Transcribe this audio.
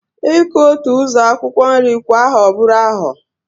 Iku otu uzo akwukwo nri kwa aho buru aho